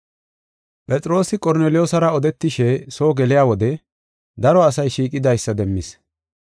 Phexroosi Qorneliyoosara odetishe soo geliya wode daro asay shiiqidaysa demmis.